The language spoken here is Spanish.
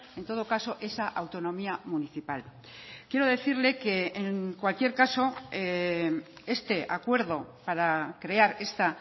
en todo caso esa autonomía municipal quiero decirle que en cualquier caso este acuerdo para crear esta